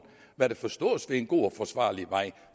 hvad der forstås ved en god og forsvarlig vej